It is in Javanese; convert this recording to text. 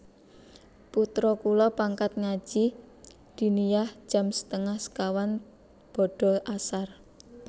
Putro kula pangkat ngaji diniyah jam setengah sekawan bada asar